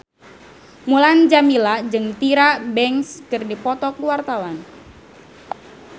Mulan Jameela jeung Tyra Banks keur dipoto ku wartawan